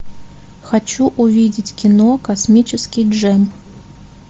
хочу увидеть кино космический джем